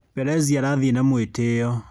Pelezi arathiĩ na mwĩtĩo.